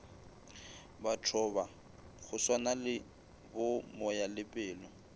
bathoba go swanale bo moyalepelo